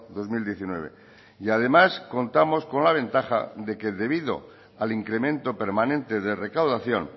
dos mil diecinueve y además contamos con la ventaja de que debido al incremento permanente de recaudación